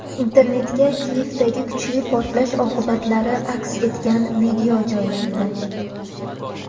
Internetga Kiyevdagi kuchli portlash oqibatlari aks etgan video joylandi.